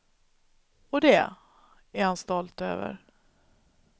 Och det är han stolt över.